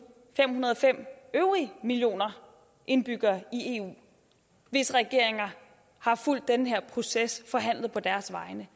fem hundrede og fem øvrige millioner indbyggere i eu hvis regeringer har fulgt den her proces forhandlet på deres vegne